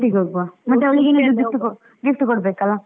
ಒಟ್ಟಿಗೆ ಹೌಗುವ, ಮತ್ತೆ ಅವಳಿಗೆ ಏನಾದ್ರು gift ಕೊ gift ಕೊಡ್ಬೇಕಲ್ಲ.